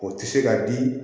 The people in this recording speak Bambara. O tɛ se ka di